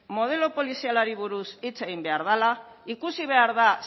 modelo polizialari buruz hitz egin behar dela ikusi behar da